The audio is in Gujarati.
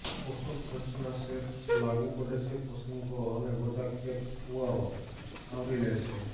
પોષક રચના સેર લાગુ પડે છે પસંદ કરો અને બધા કેપ ફુવારો આવરી લે છે